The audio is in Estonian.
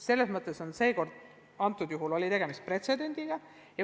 Selles mõttes oli nimetatud juhul tegemist pretsedendiga.